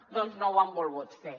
doncs no ho han volgut fer